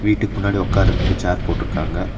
வீட்டுக்கு முன்னாடி உக்காறத்துக்கு சேர் போட்ருக்காங்க.